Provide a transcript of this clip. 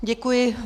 Děkuji.